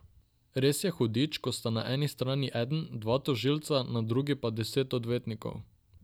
Res je hudič, ko sta na eni strani eden, dva tožilca, na drugi pa deset odvetnikov.